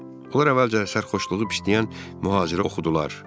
Onlar əvvəlcə sərxoşluğu pisləyən mühaciri oxudular.